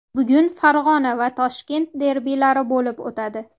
Bugun Farg‘ona va Toshkent derbilari bo‘lib o‘tadi.